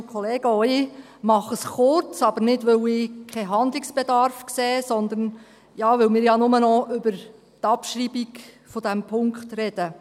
Auch ich mache es kurz, aber nicht, weil ich keinen Handlungsbedarf sehe, sondern weil wir ja nur noch über die Abschreibung dieses Punktes sprechen.